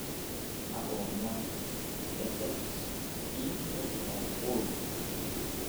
kakua omon ile det inji oipirta uhuru kenyatta